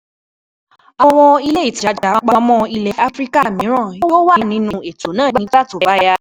Àwọn ilé-ìtajà Àpamọ́ ilẹ̀ Áfíríkà míràn yóò wà nínú ètò náà nígbà tó bá yá.